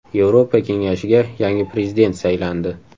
Yevropa Kengashiga yangi prezident saylandi.